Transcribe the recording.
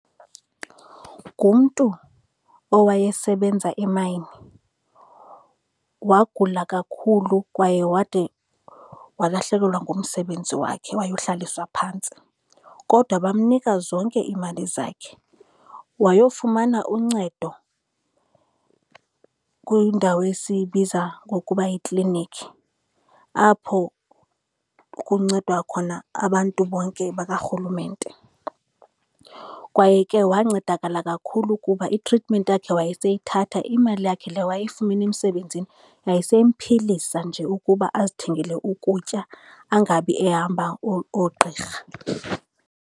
Ngumntu owayesebenza e-mine. Wagula kakhulu kwaye wade walahlekelwa ngumsebenzi wakhe wayohlaliswa phantsi, kodwa bamnika zonke iimali zakhe wayofumana uncedo kwindawo esiyibiza ngokuba yiklinikhi, apho kuncedwa khona abantu bonke bakarhulumente. Kwaye ke wancedakala kakhulu kuba i-treatment yakhe wayeseyithatha. Imali yakhe le wayeyifumene emsebenzini yayiseyimphilisa nje ukuba azithengele ukutya, angabi ehamba oogqirha.